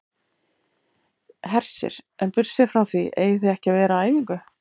Hersir: En burtséð frá því eigið þið ekki að vera á æfingu?